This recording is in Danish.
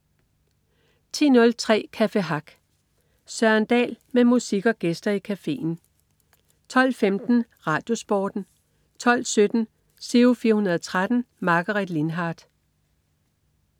10.03 Café Hack. Søren Dahl med musik og gæster i cafeen 12.15 RadioSporten 12.17 Giro 413. Margaret Lindhardt